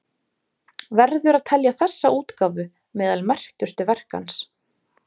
Verður að telja þessa útgáfu meðal merkustu verka hans.